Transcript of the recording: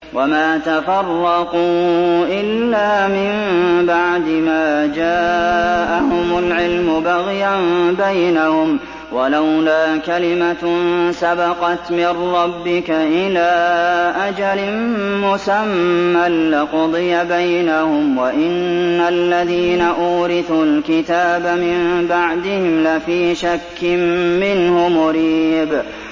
وَمَا تَفَرَّقُوا إِلَّا مِن بَعْدِ مَا جَاءَهُمُ الْعِلْمُ بَغْيًا بَيْنَهُمْ ۚ وَلَوْلَا كَلِمَةٌ سَبَقَتْ مِن رَّبِّكَ إِلَىٰ أَجَلٍ مُّسَمًّى لَّقُضِيَ بَيْنَهُمْ ۚ وَإِنَّ الَّذِينَ أُورِثُوا الْكِتَابَ مِن بَعْدِهِمْ لَفِي شَكٍّ مِّنْهُ مُرِيبٍ